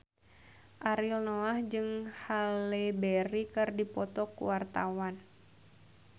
Ariel Noah jeung Halle Berry keur dipoto ku wartawan